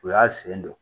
U y'a sen don